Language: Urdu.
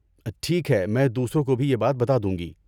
ٹھیک ہے، میں دوسروں کو بھی یہ بات بتادوں گی۔